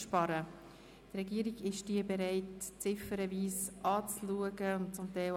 Zum Teil möchte er sie abschreiben.